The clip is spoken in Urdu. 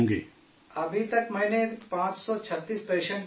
ابھی تک میں نے 536 پیشنٹ دیکھے ہیں